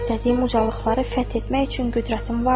İstədiyim ucalıqları fəth etmək üçün qüdrətim vardır.